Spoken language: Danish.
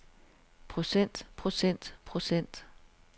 procent procent procent